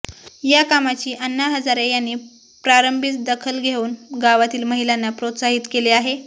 या कामाची अण्णा हजारे यांनी प्रारंभीच दखल घेऊन गावातील महिलांना प्रोत्साहित केले आहे